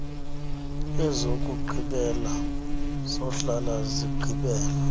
ezokugqibela zohlala zigqibela